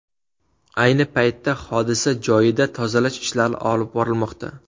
Ayni paytda hodisa joyida tozalash ishlari olib borilmoqda.